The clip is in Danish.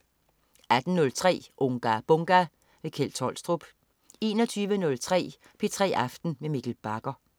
18.03 Unga Bunga! Kjeld Tolstrup 21.03 P3 aften med Mikkel Bagger